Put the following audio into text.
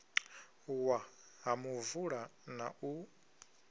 wa ha muvula na u